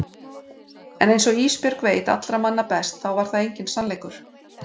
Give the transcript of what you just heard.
En einsog Ísbjörg veit allra manna best þá var það enginn sannleikur.